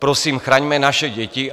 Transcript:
Prosím, chraňme naše děti.